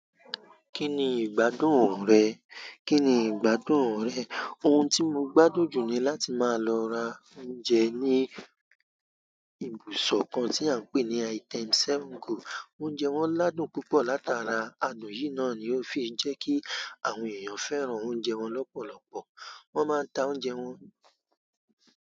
Kí ni ìgbádùn rẹ? Kí ni ìgbádùn rẹ? Ohun tí mo gbádùn jù ní láti máa lọ ra oúnjẹ ní ibùsọ̀ kan tí à ń pé ní item single. Oúnjẹ wọn ládùn púpọ̀ látara adùn yìí náà ni ó fi ń jẹ́ kí àwọn èèyàn fẹ́ran oúnjẹ wọn lọ́pọ̀lọpọ̀. Wọ́n máa ń ta oúnjẹ wọn.